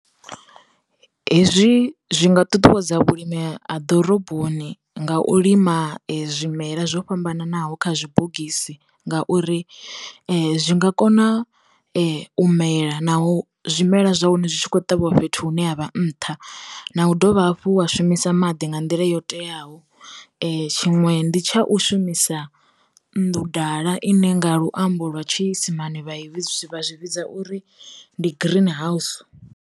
Hezwi zwi nga ṱuṱuwedza vhulimi ha ḓoroboni nga u lima zwimela zwo fhambananaho kha zwibogisi ngauri zwi nga kona u mela naho zwimela zwa hone zwi tshi kho ṱavhiwa fhethu hune ha vha nṱha, na u dovha hafhu wa shumisa maḓi nga nḓila yo teaho, tshiṅwe ndi tsha u shumisa nnḓu ḓala ine nga luambo lwa tshiisimane vha i vhidza zwi vha zwi vhidza uri ndi green house.